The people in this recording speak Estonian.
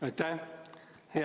Aitäh!